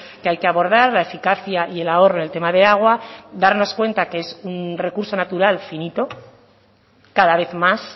que hay que abordar la eficacia y el ahorro en el tema de agua darnos cuenta que es un recurso natural finito cada vez más